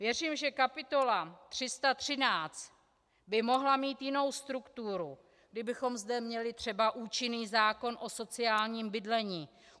Věřím, že kapitola 313 by mohla mít jinou strukturu, kdybychom zde měli třeba účinný zákon o sociálním bydlení.